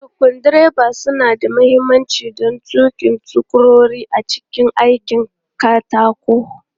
Screwdrivers suna da mahimmanci don tuki sukurori a cikin aikin katako.